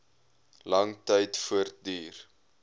lang tyd voortduur